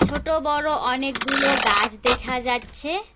ছোট বড়ো অনেকগুলো গাস দেখা যাচ্ছে।